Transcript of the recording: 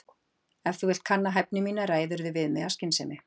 Ef þú vilt kanna hæfni mína ræðirðu við mig af skynsemi.